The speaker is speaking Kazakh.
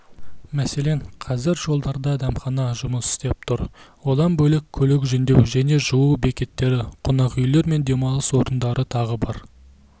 мәселен қазір жолдарда дәмхана жұмыс істеп тұр одан бөлек көлік жөндеу және жуу бекеттері қонақүйлер мен демалыс орындары тағы бар